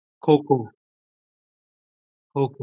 kho kho